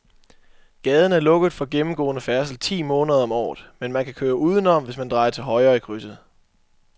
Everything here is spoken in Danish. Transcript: Gaden er lukket for gennemgående færdsel ti måneder om året, men man kan køre udenom, hvis man drejer til højre i krydset.